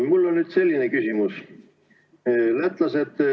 Mul on nüüd selline küsimus.